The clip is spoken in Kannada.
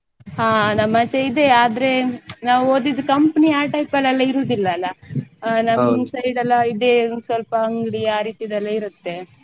ಹ ನಮ್ಮಾಚೆ ಇದೆ ಆದ್ರೆ ನಾವ್ ಓದಿದ್ದು company ಆ type ಅಲ್ಲ ಇರುದಿಲ್ಲ ಅಲ್ಲ. ಆ ನಮ್ದ್ side ಎಲ್ಲ ಇದೆ ಸ್ವಲ್ಪ ಅಂಗ್ಡಿ ಅ ರೀತಿದೆ ಇರುತ್ತೆ.